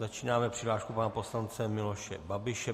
Začínáme přihláškou pana poslance Miloše Babiše.